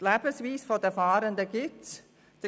Die Lebensweise der Fahrenden gibt es.